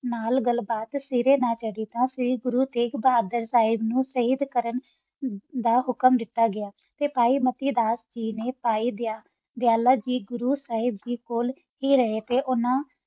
ਨਾਲ ਗਲ ਬਾਤ ਸਾਰਾ ਨਾ ਚਾਰੀ ਨਾਲ ਨਾਲ ਗੁਰੋ ਸਹਕ ਬੋਹਾਦਰ ਸਾਹਬ ਨਾਲ ਹੁਕਮ ਦਿਤਾ ਗਯਾ ਤਾ ਸਹਤ ਮਤੀ ਦਸ ਨੂ ਓਨਾ ਨਾਲ ਕੀਤਾ